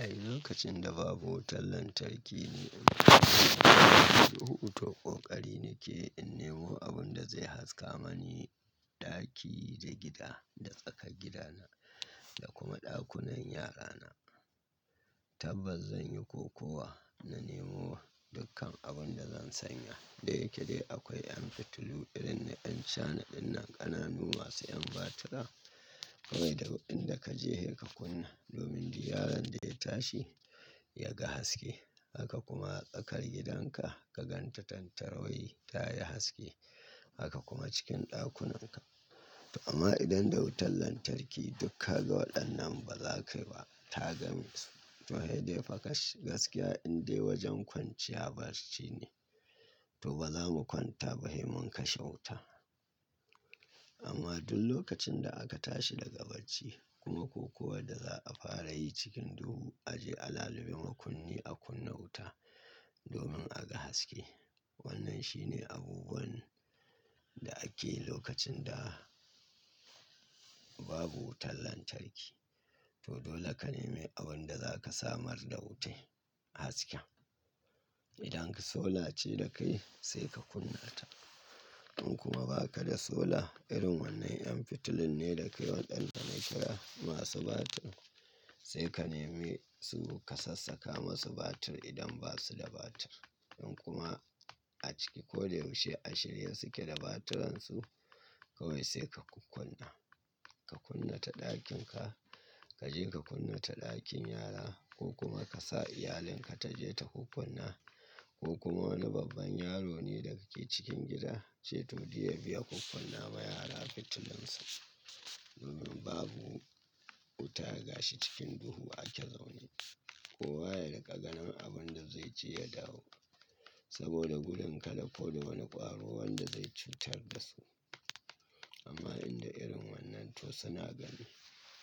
Ai lokacin da babu wutan lantarki ne. So uku to ƙoƙari nake in nemo abun da zai haska mani ɗaki da gida, da tsakar gidana da kuma ɗakunan yarana. Tabbas zan yi kokuwa na nemo dukkan abun da zan sanya. Da yake dai akwai 'an fitilu irin na ƴan China dinnan ƙananu masu ƴan batura. Kawai daod Dr'in da ka je sai ka kunna domin duk yaron da ya tashi ya ga haske. Haka kuma tsarkar gidan ka ka gan ta tattarwayi ta yi haske. Haka kuma cikin ɗakunanka. To amma idan da wutan lantarki duk ka ga waɗannan ba za ka yi ba. Ta ga mix. To he dai fa gas-- gaskiya in dai wajen kwanciya barci ne, to ba za mu kwanta ba, hei mun kashe wuta. Amma duk lokacin da aka tashi daga bacci kuma ko kuwa da za a fara yi cikin duhu, a je a lalube makunni a kunna wuta domin a ga haske. Wannan shine abubuwan da ake yi lokacin da babu wutan lantarki. To dole ka nemi abun da za ka samar da wute hasken. Idan ka sola ce da kai sai ka kunna ta. In kuma ba ka da sola, irin wannan ƴan fitilun ne da kai waɗanda na kira masu batir. Sai ka nemi su ka sassaka masu batir idan ba su da batir. In kuma a ciki ko da yaushe a shirye suke da baturansu. Kawai sai ka kukunna, ka kunna ta ɗakin ka, ka je ka kunna ta ɗakin yara ko kuma ka sa iyalin ka ta je ta kukunna. Ko kuma wani babban yaro ne da kake cikin gida, ce to diya biya kukunna wa yara fitilunsa. Domin babu wuta gashi cikin duhu ake zaune. Kowa ya riƙa ganin abun da zai ci ya dawo. Saboda gudun kada ƙo da wani ƙwaro wanda zai cutar da su. Amma inda irin wannan to suna gani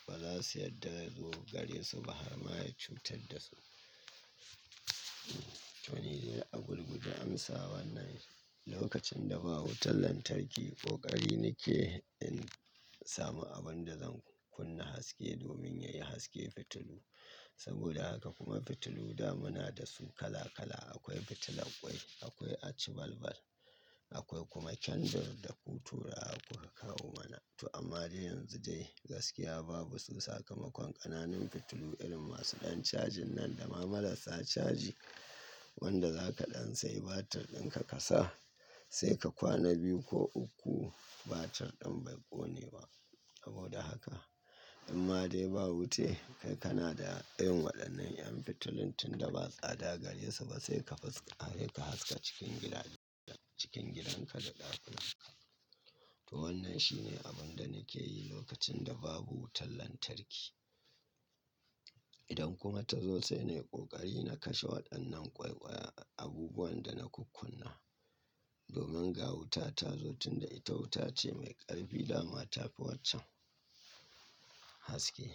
ba za su yadda ya zo gare su ba har ma ya cutar da su. To ni dai a gurguje amsa wannan lokacin da babu wutan lantarki ƙoƙari nakeyi in samu abun da zan kunna haske domin yayi haske fitilu. Saboda haka kuma fitilu da muna da su kala kala. Akwai fitilan ƙwai, akwai achibalbal, akwai kuma kendur da kutura ako a kawo mana. To amma dai yanzu dai gaskiya babu su sakamakon ƙananun fitilu irin masu ɗan cajin nan da ma marasa caji wanda za ka ɗan sayi batir ɗin ka ka sa sai ka kwana biyu ko uku batir ɗin bai ƙone ba. Saboda haka in ma dai ba wute kai kana da irin waɗannan lƴan fitilin tunda ba tsada gare su ba sai ka fisk--, sai ka hail ska cikin gida, cikin gidan ka da ɗakunan ka. To wannan shine abun da nake yi lokacin da babu wutan lantarki. Idan kuma ta zo sai na yi ƙoƙari na kashe waɗannan ƙwaiƙwaya abubuwan da na kukunna. Domin ga wuta ta zo tunda ita wuta ce mai ƙarfi, dama ta fi waccan haske.